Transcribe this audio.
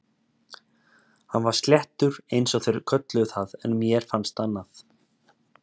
Hann var sléttur eins og þeir kölluðu það en mér fannst annað.